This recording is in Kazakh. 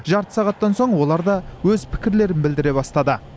жарты сағаттан соң олар да өз пікірлерін білдіре бастады